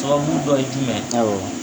Sababu dɔ ye jumɛn ye, awɔ